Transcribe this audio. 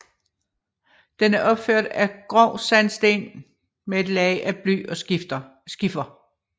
Den er opført af grov sandsten med et tag af bly og skifer